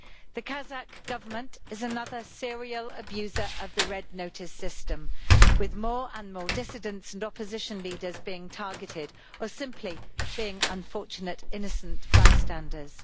The Kazakh Government is another serial abuser of the Red Notice system, with more and more dissidents and opposition leaders being targeted or simply being unfortunate innocent bystanders.